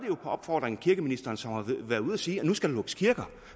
på opfordring af kirkeministeren som har været ude at sige at der skal lukkes kirker